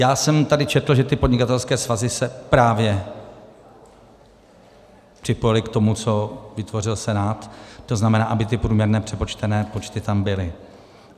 Já jsem tady četl, že ty podnikatelské svazy se právě připojily k tomu, co vytvořil Senát, to znamená, aby ty průměrné přepočtené počty tam byly.